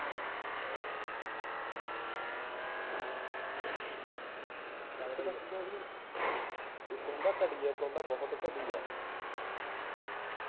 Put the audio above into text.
ਇਕ ਹੁੰਦਾ ਘਟੀਆ ਇਕ ਹੁੰਦਾ ਬਹੁਤ ਘਟੀਆ